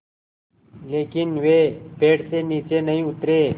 लेकिन वे पेड़ से नीचे नहीं उतरे